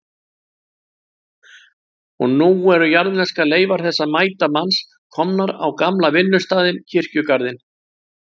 Og nú eru jarðneskar leifar þessa mæta manns komnar á gamla vinnustaðinn, kirkjugarðinn.